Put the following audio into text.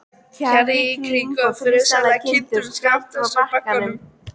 Kjarr í kring, og friðsælar kindur skammt frá bakkanum.